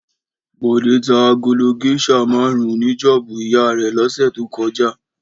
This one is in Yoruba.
Bọ̀dé ta agolo géíṣà márùn-ún ní Jóòbù ìyá rẹ̀ lọ́sẹ̀ kọjá.